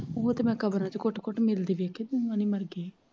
ਉਹ ਤੇ ਮੈਂ ਕਮਰੇ ਚ ਘੁੱਟ ਘੁੱਟ ਮਿਲਦੇ ਦੇਖੇ ਸੀ ਹੁਣ ਮਨ ਮਰ ਗਿਆ।